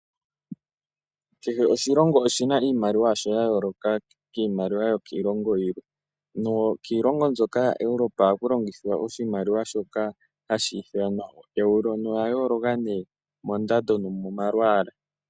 Kehe oshilongo oshina iimaliwa yasho ya yooloka kiimaliwa yo kiilongo yi ili. Nokiilongo mbyoka yaEuropa ohaku longithwa oshimaliwa shoka hashi ithanwa euro, na oya yooloka mondando nomo malwaala.